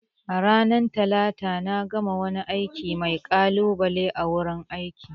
Ranar Talata na gama wani aiki mai kalubale a wurin aiki